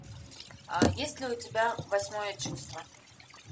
есть ли у тебя восьмое чувство